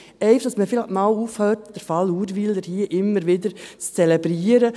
Einfach damit man einmal aufhört, den Fall Urwyler hier immer wieder zu zelebrieren.